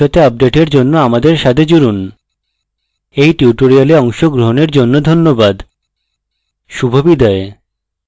ভবিষ্যতের updates জন্য আমাদের সাথে জুড়ুন এই tutorial অংশগ্রহণের জন্য ধন্যবাদ শুভবিদায়